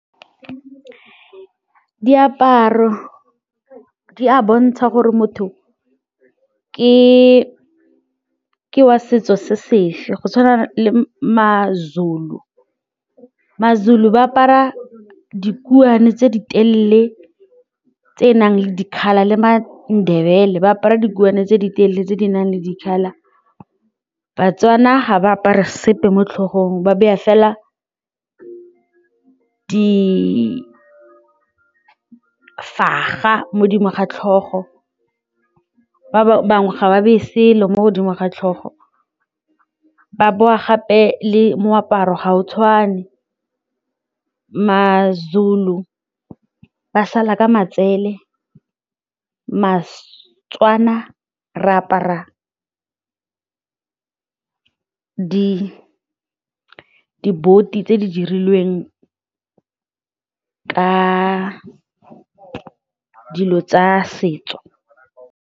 Diaparo di a bontsha gore motho ke ke wa setso se sefe go tshwana le ma-Zulu, ma-Zulu ba apara dikhutshwane tse di telele tsenang le dikgaba le ma-Ndebele ba apara dikhutshwane tse di telele tse di nang le dikgaba. Ba-Tswana ha ba apare sepe mo tlhogong ba beya fela ga tlhogo ba bangwe ga ba bese selo mo godimo ga tlhogo ba boa gape le moaparo ga o tshwane, ma-Zulu ba sala ka matsele Setswana re apara diboti tse di dirilweng ka dilo tsa setso.